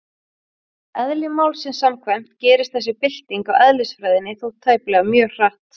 Eðli málsins samkvæmt gerist þessi bylting á eðlisfræðinni þó tæplega mjög hratt.